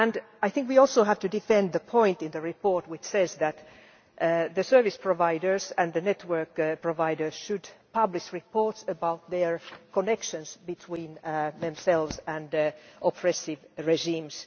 I think we also have to defend the point in the report which says that the service providers and the network providers should publish reports about their connections between themselves and oppressive regimes.